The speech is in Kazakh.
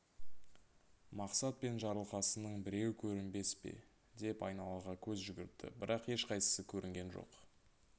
мақсат пен жарылқасынның біреуі көрінбес пе деп айналаға көз жүгіртті бірақ ешқайсысы көрінген жоқ